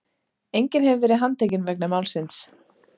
Enginn hefur verið handtekinn vegna málsins